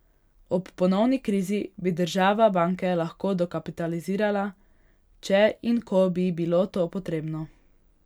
Ob ponovni krizi bi država banke lahko dokapitalizirala, če in ko bi bilo to potrebno.